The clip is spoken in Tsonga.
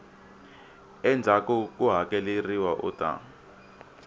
endzhaku ku hakeleriwa wu ta